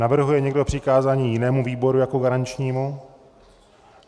Navrhuje někdo přikázání jinému výboru jako garančnímu?